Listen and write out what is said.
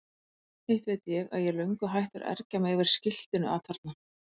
Hitt veit ég að ég er löngu hættur að ergja mig yfir skiltinu atarna.